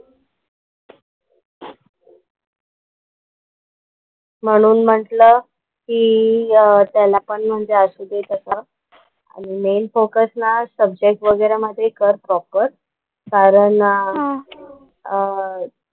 म्हणून म्हंटलं कि त्याला पण म्हणजे असु दे तसा आणि मेन फोकस ना सब्जेक्ट वगैरा मध्ये कर प्रॉपर कारण ना अह